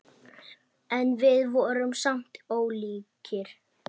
En við vorum samt ólíkir.